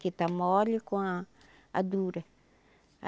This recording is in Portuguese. que está mole com a a dura.